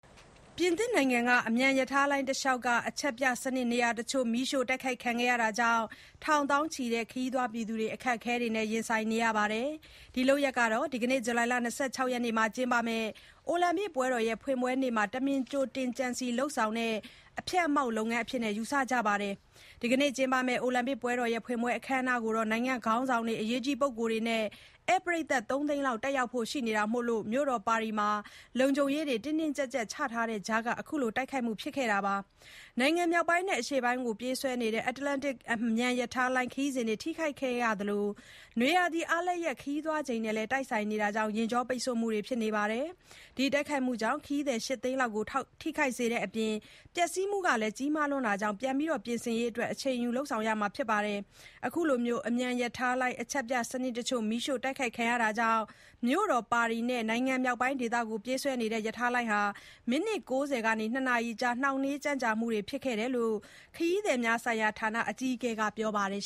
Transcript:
ပြင်သစ်နိုင်ငံက အမြန်ရထားလိုင်းတလျှောက်က အချက်ပြစနစ်နေရာတချို့ မီးရှို့ တိုက်ခိုက်ခံခဲ့ရတာကြောင့် ထောင်သောင်းချီတဲ့ ခရီးသွားတွေ အခက်အခဲနဲ့ ရင်ဆိုင်ခဲ့ရပါတယ်။ ဒီလုပ်ရပ်ဟာ ဒီကနေ့ ဇူလိုင်လ ၂၆ ရက်နေ့မှာပြုလုပ်မယ့် အိုလံပစ်ပွဲတော် ဖွင့်ပွဲနေ့မှာ တမင်ကြိုတင် ကြံစည်လုပ်ဆောင်တဲ့ အဖျက်အမှောင့်လုပ်ငန်းအဖြစ် ယူဆကြပါတယ်။ ဒီကနေ့ ကျင်းပမယ့် အိုလံပစ်ပွဲတော် ဖွင့်ပွဲအခမ်းအနားကို နိုင်ငံ့ခေါင်းဆောင်တွေ၊ အရေးကြီးပုဂ္ဂိုလ်တွေနဲ့ ဧည့်ပရိတ်သတ် ၃ သိန်းလောက် တက်ရောက်ကြဖို့ ရှိတာကြောင့် မြို့တော်ပါရီမှာ လုံခြုံရေးတွေ တင်းကြပ်စွာ ချထားတဲ့ကြားက ဒီ တိုက်ခိုက်မှု ဖြစ်ခဲ့တာပါ။ နိုင်ငံမြောက်ပိုင်းနဲ့ အရှေ့ပိုင်းတို့ကို ပြေးဆွဲနေတဲ့ Atlantic အမြန်ရထားလိုင်း ခရီးစဉ်တွေ ထိခိုက်ခဲ့ရသလို နွေရာသီအားလပ်ရက် ခရီးသွားချိန်နဲ့လည်း တိုက်ဆိုင်နေတာကြောင့် ယာဉ်ကျော ပိတ်ဆို့မှုတွေ ဖြစ်ခဲ့တယ်လို့ ဆိုပါတယ်။ တိုက်ခိုက်မှုကြောင့် ခရီးသည် ၈ သိန်းလောက်ကို ထိခိုက်စေခဲ့တဲ့အပြင် ပျက်စီးမှုက ကြီးမားတဲ့အတွက် ပြန်လည် ပြင်ဆင်ရေးအတွက် အချိန်ယူ လုပ်ဆောင်ရမယ်လို့ ဆိုပါတယ်။ အခုလို အမြန်ရထားလိုင်း အချက်ပြစံနစ်တချို့ မီးရှို့ တိုက်ခိုက်ခံရမှုကြောင့် မြို့တော် ပါရီနဲ့ နိုင်ငံမြောက်ပိုင်း ဒေသကို ပြေးဆွဲနေတဲ့ ရထားလိုင်းဟာ မိနစ် ၉၀ ကနေ ၂ နာရီအကြား နှောင့်နှေး ကြန့်ကြာမှုဖြစ်နိုင်တယ်လို့ ခရီးသည်များဆိုင်ရာဌာန အကြီးအကဲ Christophe Fanichet (ခရစ်စတုဖ် ဖယ်နီးရှေး) က ပြောပါတယ်